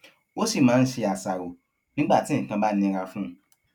ó sì máa ń ṣe àṣàrò nígbà tí nǹkan bá nira fún un